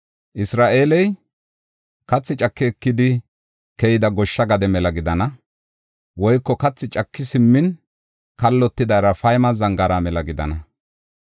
Isra7eeley, kathi caki ekidi keyida goshsha gade mela gidana; woyko kathi caki simmin kallotida Raafayme zangaara mela gidana.